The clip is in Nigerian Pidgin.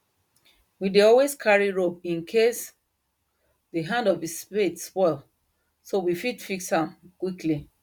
we dey always carry rope incase the hand of the spade spoil so we fit fix am quickly